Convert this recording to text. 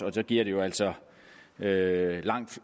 og så giver det jo altså langt